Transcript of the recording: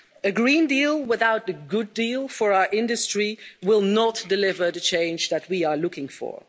A Green Deal without a good deal for our industry will not deliver the change that we are looking for.